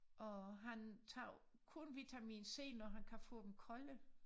Og han tager kun vitamin C når han kan få dem kolde